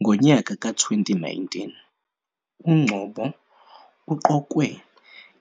Ngonyaka ka-2019, uNgcobo uqokwe